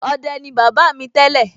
ọdẹ ni bàbá mi tẹ́lẹ̀